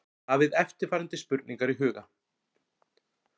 Hafið eftirfarandi spurningar í huga